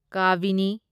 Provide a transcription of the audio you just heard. ꯀꯥꯕꯤꯅꯤ